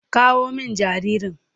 Kawo min jaririn.